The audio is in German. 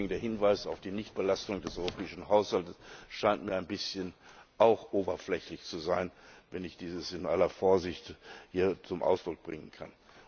Deswegen der Hinweis auf die Nichtbelastung des europäischen Haushalts. Das scheint mir auch ein bisschen oberflächlich zu sein, wenn ich dies hier in aller Vorsicht zum Ausdruck bringen kann.